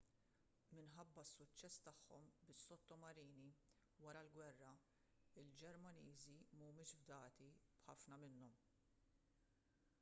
minħabba s-suċċess tagħhom bis-sottomarini wara l-gwerra il-ġermaniżi mhumiex fdati b'ħafna minnhom